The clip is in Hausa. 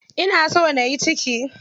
Ina so nayi ciki.